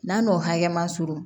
N'a n'o hakɛ ma surun